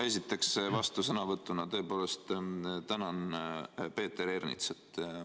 Esiteks, vastusõnavõtuna tõepoolest tänan Peeter Ernitsat.